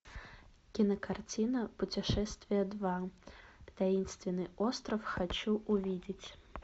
кинокартина путешествие два таинственный остров хочу увидеть